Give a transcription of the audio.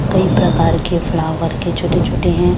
कई प्रकार के फ्लावर के छोटे छोटे हैं।